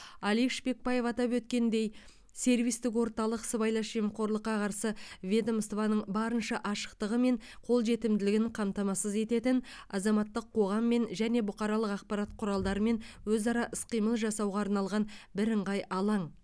алик шпекбаев атап өткендей сервистік орталық сыбайлас жемқорлыққа қарсы ведомстваның барынша ашықтығы мен қолжетімділігін қамтамасыз ететін азаматтық қоғаммен және бұқаралық ақпарат құралдарымен өзара іс қимыл жасауға арналған бірыңғай алаң